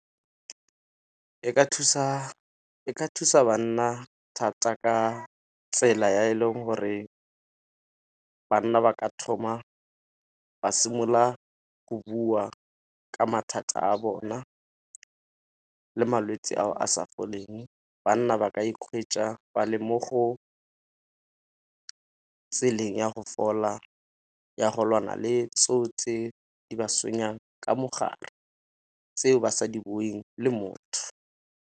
E ka thusa banna thata ka tsela ya e leng gore banna ba ka thoma, ba simolola go bua ka mathata a bona le malwetse ao a sa foleng. Banna ba ka ba le mo go tseleng ya go fola, ya go lwana le tseo tse di ba tshwenyang ka mogare tseo ba sa di buing le motho.